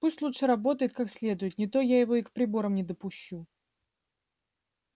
пусть лучше работает как следует не то я его и к приборам не подпущу